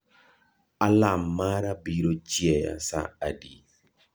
Alarm mara biro chieya saa adi